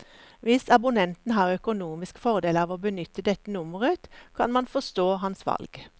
Hvis abonnenten har økonomisk fordel av å benytte dette nummeret, kan man forstå hans valg.